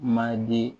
Maden